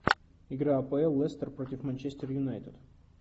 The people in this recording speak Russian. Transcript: игра апл лестер против манчестер юнайтед